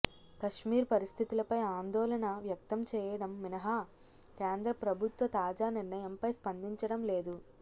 కశ్మీర్ పరిస్థితులపై ఆందోళన వ్యక్తం చేయడం మినహా కేంద్ర ప్రభుత్వ తాజా నిర్ణయంపై స్పందించడం లేదు